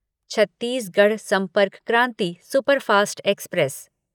Chhattisgarh Sampark Kranti superfast express